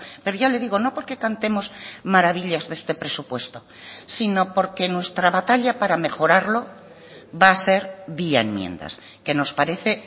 pero ya le digo no porque cantemos maravillas de este presupuesto sino porque nuestra batalla para mejorarlo va a ser vía enmiendas que nos parece